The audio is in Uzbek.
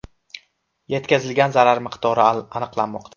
Yetkazilgan zarar miqdori aniqlanmoqda.